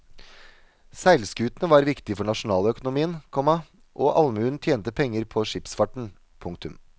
Seilskutene var viktige for nasjonaløkonomien, komma og allmuen tjente penger på skipsfarten. punktum